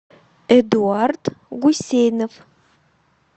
эдуард гусейнов